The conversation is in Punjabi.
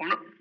ਹੁਣ